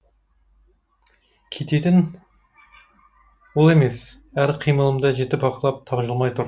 кететін ол емес әр қимылымды жіті бақылап тапжылмай тұр